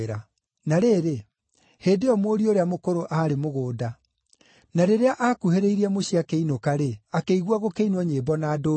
“Na rĩrĩ, hĩndĩ ĩyo mũriũ ũrĩa mũkũrũ aarĩ mũgũnda. Na rĩrĩa aakuhĩrĩirie mũciĩ akĩinũka-rĩ, akĩigua gũkĩinwo nyĩmbo na ndũhiũ.